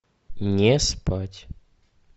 не спать